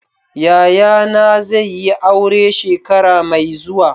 Yayana zai yi aure shekara mai zuwa.